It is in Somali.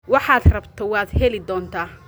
waxaad rabto waad heli doontaa